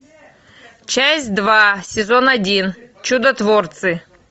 часть два сезон один чудотворцы